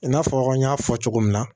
I n'a fɔ n y'a fɔ cogo min na